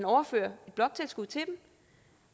overføre bloktilskud til dem